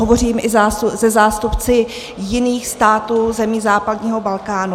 Hovořím i se zástupci jiných států zemí západního Balkánu.